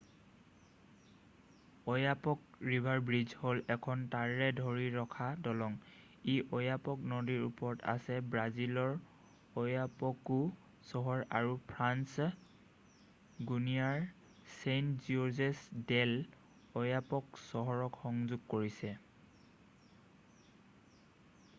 "oyapock river bridge হ'ল এখন তাৰেৰে ধৰি ৰখা দলং। ই oyapock নদীৰ ওপৰত আছে ব্ৰাজিলৰ oiapoque চহৰ আৰু ফ্ৰান্স guianaৰ saint-georges del'oyapock চহৰক সংযোগ কৰিছে।""